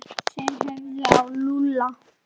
Þeir horfðu á Lúlla.